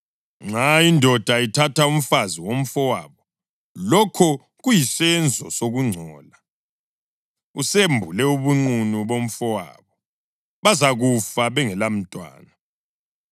Nxa indoda ithatha umfazi womfowabo, lokho kuyisenzo sokungcola; usembule ubunqunu bomfowabo. Bazakufa bengelamntwana.